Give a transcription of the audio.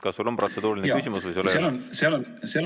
Kas sul on protseduuriline küsimus või ei ole?